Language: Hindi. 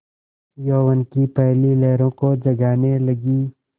यौवन की पहली लहरों को जगाने लगी